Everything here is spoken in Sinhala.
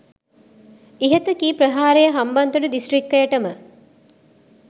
ඉහත කී ප්‍රහාරය හම්බන්තොට දිස්ත්‍රික්කයට ම